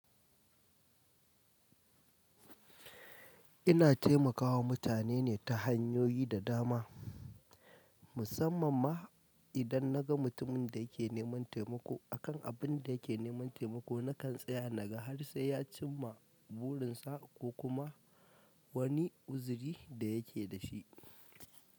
Ina taimakawa mutane ne ta hanyoyi da dama, musamman ma idan na ga mutumin da yake neman taimako. Akan abin da yake neman taimako, nakan tsaya naga har sai ya cimma burinsa ko kuma wani uziri da yake dashi.